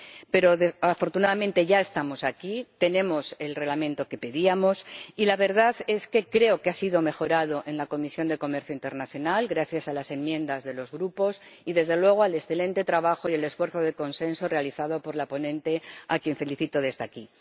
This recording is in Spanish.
Pero, afortunadamente, ya estamos aquí, tenemos el Reglamento que pedíamos, y la verdad es que creo que ha sido mejorado en la Comisión de Comercio Internacional, gracias a las enmiendas de los Grupos y, desde luego, al excelente trabajo y al esfuerzo de consenso de la ponente, a quien felicito desde aquí.